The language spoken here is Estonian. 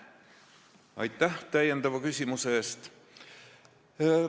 Aitäh täiendava küsimuse eest!